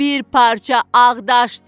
Bir parça ağdaşdır.